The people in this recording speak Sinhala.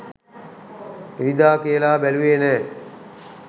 ඉරිදා කියලා බැලුවේ නෑ